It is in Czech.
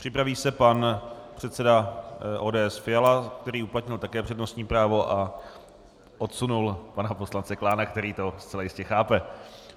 Připraví se pan předseda ODS Fiala, který uplatnil také přednostní právo a odsunul pana poslance Klána, který to zcela jistě chápe.